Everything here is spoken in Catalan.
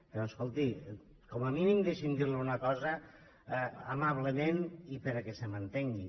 però escolti com a mínim deixi’m dir li una cosa amablement i perquè se m’entengui